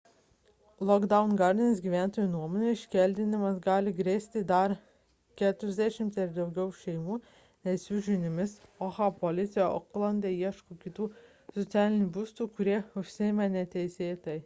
lockwood gardens gyventojų nuomone iškeldinimas gali grėsti dar 40 ar daugiau šeimų nes jų žiniomis oha policija oklande ieško kitų socialinių būstų kurie užimti neteisėtai